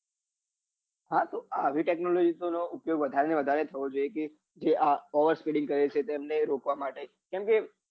હા તો આવ technology નો ઉપયોગ વધારે ને વધારે થવો જોઈએ કે જ over speeding કરે છે તેમને રોકવા માટે કમ કે